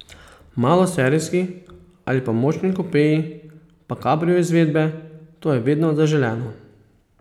Maloserijski ali pa močni kupeji pa kabrio izvedbe, to je vedno zaželeno.